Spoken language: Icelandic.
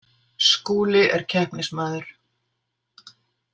Skúli er keppnismaður.